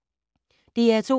DR2